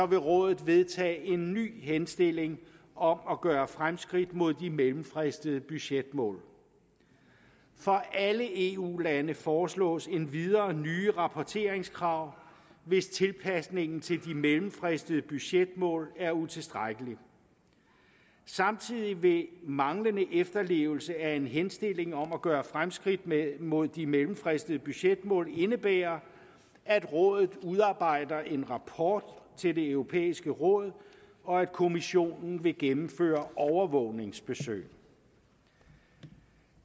vil rådet vedtage en ny henstilling om at gøre fremskridt mod de mellemfristede budgetmål for alle eu lande foreslås endvidere nye rapporteringskrav hvis tilpasningen til de mellemfristede budgetmål er utilstrækkelig samtidig vil en manglende efterlevelse af en henstilling om at gøre fremskridt mod de mellemfristede budgetmål indebære at rådet udarbejder en rapport til det europæiske råd og at kommissionen vil gennemføre overvågningsbesøg